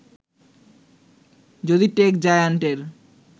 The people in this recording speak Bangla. যদি টেক জায়ান্টের